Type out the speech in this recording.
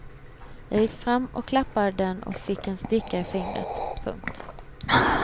Jag gick fram och klappade den och fick en sticka i fingret. punkt